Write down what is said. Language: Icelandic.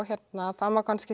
það má kannski